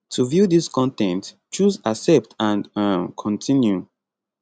to view dis con ten t choose accept and um continue